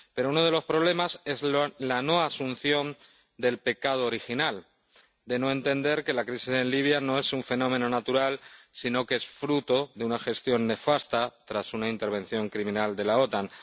Pero uno de los problemas es la no asunción del pecado original, el no entender que la crisis en Libia no es un fenómeno natural, sino que es fruto de una gestión nefasta tras una intervención criminal de la OTAN.